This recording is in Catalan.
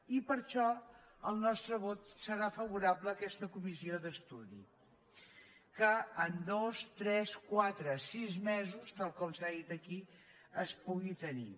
i per això el nostre vot serà favorable a aquesta comissió d’estudi que en dos tres quatre o sis mesos tal com s’ha dit aquí es pugui tenir